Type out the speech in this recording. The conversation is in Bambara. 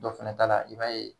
Dɔ fana ta la i b'a ye